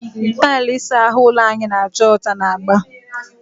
Tailụ ụlọ ịsa ahụ anyị na-acha ọcha na agba.